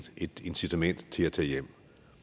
et incitament til at tage hjem